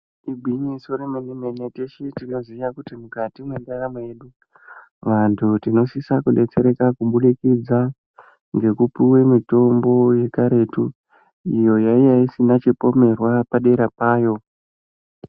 Igwinyiso remene mene teshe tinoziya kuti mukati mwendaramo yedu , antu tinosisa kudetsereka kubudikidza ngekupuwe mitombo yekaretu iyo yaiya isina chipomerwa padera payo .